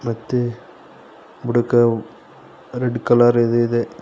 ಮತ್ತೆ ಬುಡುಕ red colour ಇದ್ ಇದೆ.